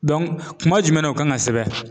kuma jumɛn na o kan ka sɛbɛn ?